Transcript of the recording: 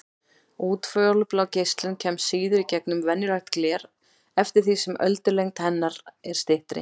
Útfjólublá geislun kemst síður í gegnum venjulegt gler eftir því sem öldulengd hennar er styttri.